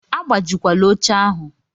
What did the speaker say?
Agbajikwala oche ahụ!